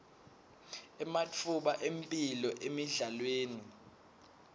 ematfuba emphilo emidlalweni